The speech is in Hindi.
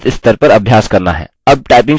अब typing शुरू करें